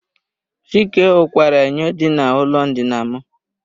Chike ụkwara enyo dị na ụlọ ndina m.